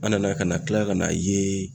An nana ka na kila ka na ye